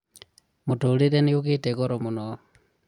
mũtũrĩre nĩũgĩte goro mũno